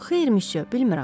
Xeyr, müsyö, bilmirəm.